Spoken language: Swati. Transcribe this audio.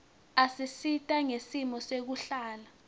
isisita ngesimo sekuhlala